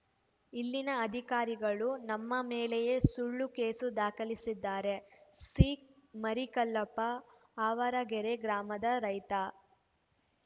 ಇಲ್ಲಿನ ಅಧಿಕಾರಿಗಳು ನಮ್ಮ ಮೇಲೆಯೇ ಸುಳ್ಳು ಕೇಸು ದಾಖಲಿಸಿದ್ದಾರೆ ಸಿಮರಿಕಲ್ಲಪ್ಪ ಆವರಗೆರೆ ಗ್ರಾಮದ ರೈತ